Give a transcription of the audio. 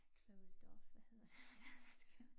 Closed off hvad hedder det på dansk